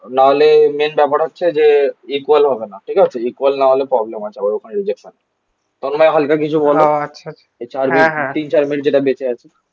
না হলে মেন ব্যাপার হচ্ছে যে ইকুয়াল হবে না. ঠিক আছে. ইকোয়াল না হলে প্রবলেম আছে. আবার ওখানে রিজেক্ট হয়. তন্ময় হালকা কিছু বলো এই চার মিনিট তিন চার মিনিট যেটা বেঁচে আছে